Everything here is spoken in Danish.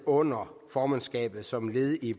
under formandskabet som led i